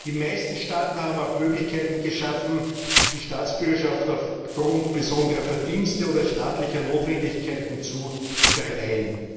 Die meisten Staaten haben auch Möglichkeiten geschaffen, die Staatsbürgerschaft aufgrund besonderer Verdienste oder staatlicher Notwendigkeiten zu verleihen.